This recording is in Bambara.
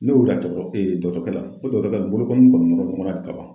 Ne y'o yira dɔgɔtɔrɔ dɔgɔtɔrɔkɛ la ko dɔgɔtɔrɔkɛ nin bolo kɔni nɔrɔla ɲɔgɔnna ka ban